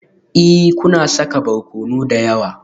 Ee, kuna saka barkono da yawa